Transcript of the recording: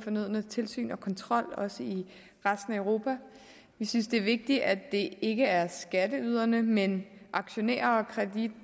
fornødne tilsyn og kontrol også i resten af europa vi synes det er vigtigt at det ikke er skatteyderne men aktionærer og